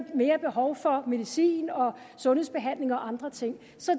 mere behov for medicin og sundhedsbehandling og andre ting så